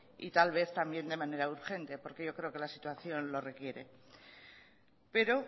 y tal vez también de manera urgente porque yo creo que la situación lo requiere pero